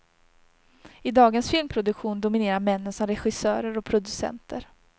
I dagens filmproduktion dominerar männen som regissörer och producenter.